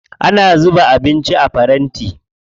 Ana zuba abinci a faranti.